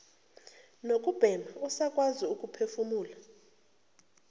nokubhema usakwazi ukuphefumula